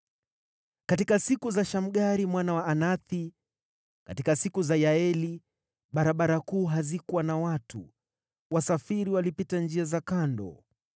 “Katika siku za Shamgari mwana wa Anathi, katika siku za Yaeli, barabara kuu hazikuwa na watu; wasafiri walipita njia za kando.